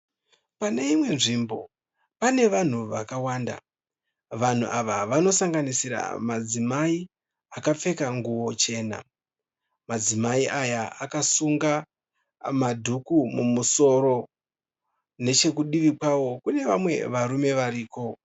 Pane imwe nzvimbo pane vanhu vakawanda, vanhu ava vanosanganisira madzimai akapfeka nguwo chena. Madzimai aya akasunga madhuku mumusoro, nechekudivi kwavo kune vamwe varume variko.